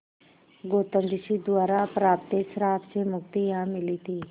गौतम ऋषि द्वारा प्राप्त श्राप से मुक्ति यहाँ मिली थी